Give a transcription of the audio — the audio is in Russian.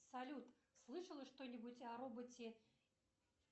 салют слышала что нибудь о роботе